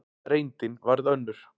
Reyndin varð önnur.